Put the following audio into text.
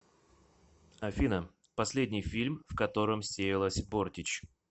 афина последний фильм в котором сеялась бортич